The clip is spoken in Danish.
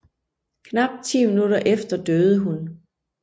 Knap ti minutter efter døde hun